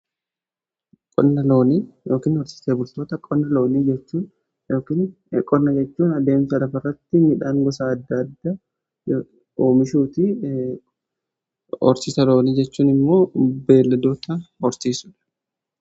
qonna loonii yookaan horsiisee bultoota, qonna loonii jechuun addeemsa lafa irratti midhaan gosa adda adda oomishuuti. horsiisa loonii jechuun immoo beeladoota horsiisudha.